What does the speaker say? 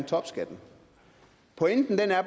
topskatten